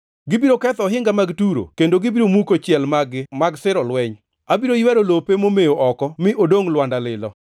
Gibiro ketho ohinga mag Turo kendo gibiro muko chiel mag-gi mag siro lweny; abiro ywero lope momewo oko mi odongʼ lwanda lilo.